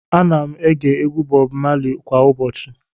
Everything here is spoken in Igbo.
Ana m ege egwu Bob Marley kwa ụbọchị.